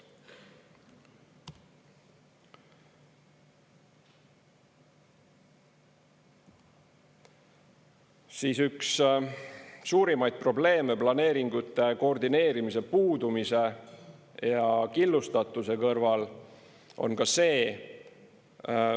Siis, üks suurimaid probleeme planeeringute koordineerimise puudumise ja killustatuse kõrval on ka see.